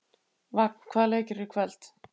Vagn, hvaða leikir eru í kvöld?